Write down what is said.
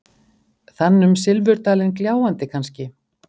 Þann um silfurdalinn gljáandi, kannske?